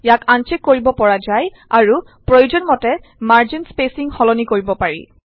ইয়াক আনচ্চেক কৰিব পৰা যায় আৰু প্ৰয়োজন মতে মাৰ্জিন স্পেচিং সলনি কৰিব পাৰি